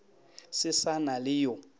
se sa na le yo